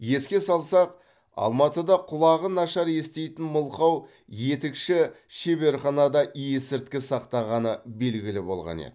еске салсақ алматыда құлағы нашар еститін мылқау етікші шеберханада есірткі сақтағаны белгілі болған еді